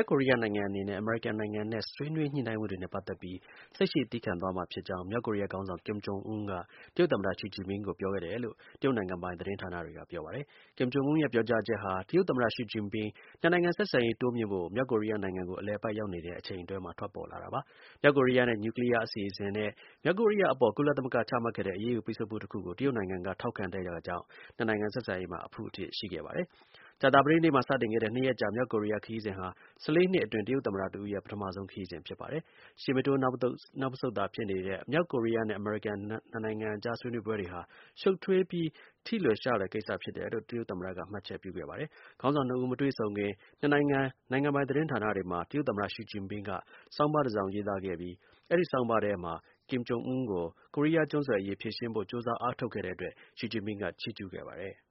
က်ကိုရီးယားနိုင်ငံအနေနဲ့ အမေရိကန်နိုင်ငံနဲ့ ဆွေးနွေး ညှိနှိုင်းမှုတွေနဲ့ ပတ်သက်ပြီး စိတ်ရှည်သည်းခံသွားမှာ ဖြစ်ကြောင်း မြောက်ကိုရီးယား ခေါင်းဆောင် ကင်ဂျုံအွန်းက တရုတ်သမ္မ ရှီဂျင်ပင်းကို ပြောခဲ့တယ်လို့ တရုတ် နိုင်ငံပိုင် သတင်းဌာနတွေက ပြောပါတယ်။ ကင်ဂျုံအွန်းရဲ့ ပြောကြားချက်ဟာ တရုတ်သမ္မတ ရှီဂျင်ပင်း နှစ်နိုင်ငံ ဆက်ဆံရေး တိုးမြှင့်ဖို့ မြောက်ကိုရီးယားနိုင်ငံကို အလည်အပတ် ရောက်နေတဲ့အချိန်အတွင်းမှာ ထွက်ပေါ်လာတာပါ။ မြောက်ကိုရီးယားရဲ့ နျူကလီးယား အစီအစဉ်နဲ့ မြောက်ကိုရီးယား အပေါ် ကုလသမဂ္ဂက ချမှတ်ခဲ့တဲ့ အရေးယူး ပိတ်ဆို့မှုတစ်ခုကို တရုတ်နိုင်ငံက ထောက်ခံခဲ့တာကြောင့် နှစ်နိုင်ငံ ဆက်ဆံရေးမှာ အဖုအထစ် ရှိခဲ့ပါတယ်။ ကြာသပတေးနေ့မှာ စတင်ခဲ့တဲ့ ၂ ရက်ကြာ မြောက်ကိုရီးယား ခရီးစဉ်ဟာ ၁၄ နှစ်အတွင်း တရုတ်သမ္မတ တစ်ဦးရဲ့ ပထမဆုံး ခရီးစဉ်ပါ။ ရှေ့မတိုး နောက်မဆုတ် ဖြစ်နေတဲ့ မြောက်ကိုရီးယားနဲ့ အမေရိကန်နိုင်ငံအကြား ဆွေးနွေးပွဲတွေ ရှုပ်ထွေးပြီး ထိလွယ်ရှလွယ် ကိစ္စ ဖြစ်တယ်လို့ တရုတ်သမ္မတက မှတ်ချက်ပြုပါတယ်။ ခေါင်းဆောင်နှစ်ဦး မတွေ့ဆုံခင် နှစ်နိုင်ငံနိုင်ငံပိုင် သတင်းဌာနတွေမှာ တရုတ်သမ္မတ ရှီဂျင်ပင်း ရေးသားတဲ့ ဆောင်းပါးတစ်စောင် ပါရှိခဲ့ပြီး အဲဒီဆောင်းပါးထဲမှာ ကင်မ်ဂျုံအွန်းကို ကိုရီးယား ကျွန်းဆွယ်အရေး ဖြေရှင်းဖို့ ကြိုးစားအားထုတ်တဲ့အတွက် ရှီဂျင်ပင်းက ချီးကျူးခဲ့ပါတယ်။